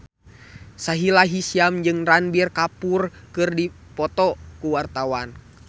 Sahila Hisyam jeung Ranbir Kapoor keur dipoto ku wartawan